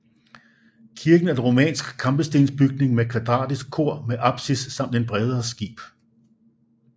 Kirken er en romansk kampestensbygning med kvadratisk kor med apsis samt et bredere skib